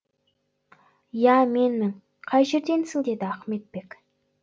иә менмін қай жерденсің деді ахметбек